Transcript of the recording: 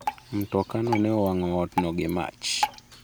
Mtokano ne owango otno gi mach.